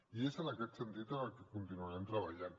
i és en aquest sentit en el que continuarem treballant